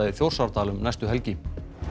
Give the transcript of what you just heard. í Þjórsárdal um næstu helgi